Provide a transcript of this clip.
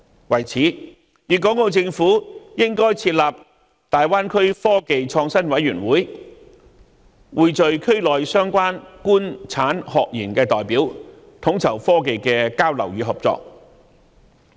為此，粵港澳政府應該設立大灣區科技創新委員會，匯聚區內相關"官產學研"的代表，統籌科技的交流與合作。